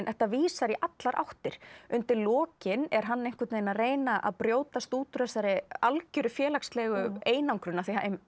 þetta vísar í allar áttir undir lokin er hann einhvern veginn að reyna að brjótast út úr þessari algjöru félagslegu einangrun því